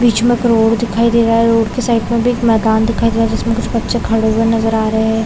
बीच में एक रोड दिखाई दे रहा है रोड के साइड में भी मैदान दिखाई दे रहा है जिसमे कुछ बच्चे खड़े हुए नज़र आ रहे है।